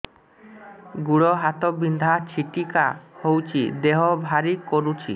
ଗୁଡ଼ ହାତ ବିନ୍ଧା ଛିଟିକା ହଉଚି ଦେହ ଭାରି କରୁଚି